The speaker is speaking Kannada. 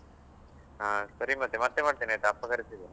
ಹಾ ಸರಿ ಮತ್ತೆ, ಮತ್ತೆ ಮಾಡ್ತೇನೆ ಆಯ್ತಾ ಅಪ್ಪ ಕರೀತಿದ್ದಾರೆ.